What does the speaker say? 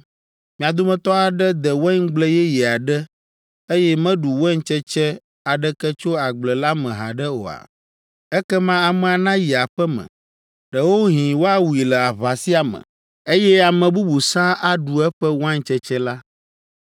Mia dometɔ aɖe de waingble yeye aɖe, eye meɖu waintsetse aɖeke tso agble la me haɖe oa? Ekema amea nayi aƒe me! Ɖewohĩ woawui le aʋa sia me, eye ame bubu sãa aɖu eƒe waintsetse la!